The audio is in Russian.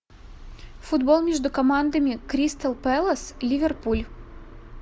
футбол между командами кристал пэлас ливерпуль